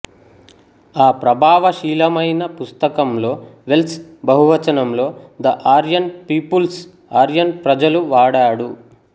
ఆ ప్రభావశీలమైన పుస్తకంలో వెల్స్ బహువచనంలో ద ఆర్యన్ పీపుల్స్ ఆర్యన్ ప్రజలు వాడాడు